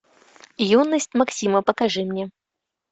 юность максима покажи мне